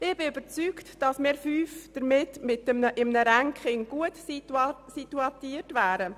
Ich bin überzeugt, dass wir fünf EDUMitglieder in einem Ranking gut platziert wären.